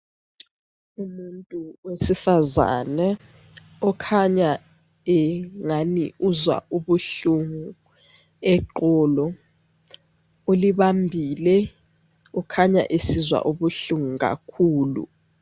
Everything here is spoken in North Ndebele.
Umuntu wesifazana okhanya engani uzwa ubuhlungu eqolo ,ulibambile kukhanya esizwa ubuhlungu kakhulu.